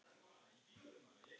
Fallið frá tveggja ríkja lausn?